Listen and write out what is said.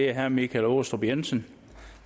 er herre michael aastrup jensen